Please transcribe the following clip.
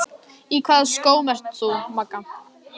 Í hvaða skóm ert þú, Magga?